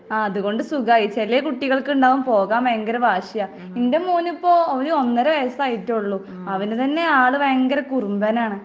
ആഹ് അതുകൊണ്ട് സുഖായി ചെലേ കുട്ടികൾക്ക് ഇണ്ടാവും പോകാൻ ഭയങ്കര വാശിയ. എന്റെ മോന് ഇപ്പൊ ഒരു ഒന്നര വയസ്സായിട്ടുള്ളു. അവന് തന്നെ ആള് ഭയങ്കര കുറുമ്പനാണ്.